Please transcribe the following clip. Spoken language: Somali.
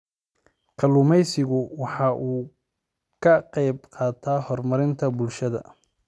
Kalluumaysigu waxa uu ka qayb qaataa horumarka bulshada.